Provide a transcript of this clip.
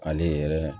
Ale yɛrɛ